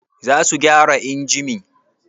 Za su gyara injimin?